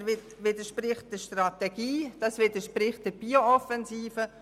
Dies widerspricht der Strategie und der BioOffensive.